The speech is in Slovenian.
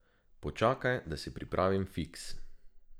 Počakaj, da si pripravim fiks.